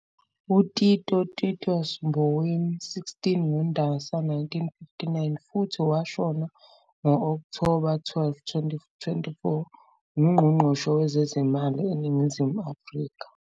UTito Titus Mboweni, 16 ngoNdasa 1959 futhi washona ngo-Okthoba 12, 2024, nguNgqongqoshe wezezimali eNingizimu Afrika.